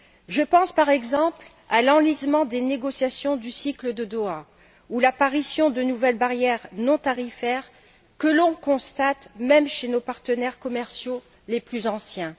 Je pense, par exemple, à l'enlisement des négociations du cycle de Doha ou à l'apparition de nouvelles barrières non tarifaires que l'on constate même chez nos partenaires commerciaux les plus anciens.